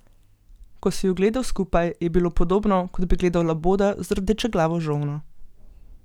Ko si ju gledal skupaj, je bilo podobno, kot bi gledal laboda z rdečeglavo žolno.